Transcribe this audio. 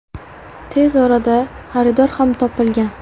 Tez orada xaridor ham topilgan.